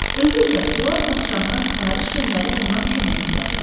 Özü isə sular padşahına sifariş göndərib ondan kömək istədi.